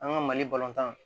An ka mali balontan